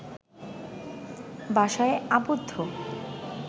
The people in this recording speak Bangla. বাসায় আবদ্ধ